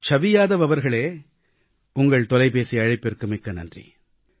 சவி யாதவ் அவர்களே உங்கள் தொலைபேசி அழைப்பிற்கு மிக்க நன்றி